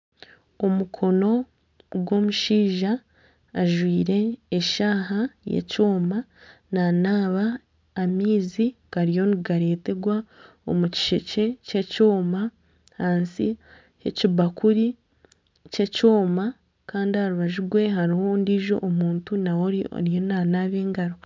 Omukono gw'omushaija ajwire eshaaha y'ekyoma nanaaba amaizi gariyo nigareeterwa omu kishekye ky'ekyoma ahansi y'ekibakuri ky'ekyoma kandi aha rubaju rwe hariho ondiijo muntu nawe ariyo nanaba engaro